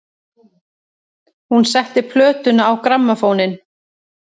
Hún setti plötuna á grammófóninn.